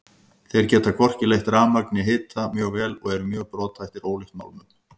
Þeir geta hvorki leitt rafmagn né hita mjög vel og eru mjög brothættir ólíkt málmunum.